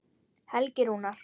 Helgi Rúnar.